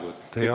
Teie aeg!